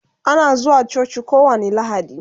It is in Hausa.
Ana zuwa coci kowani lahadi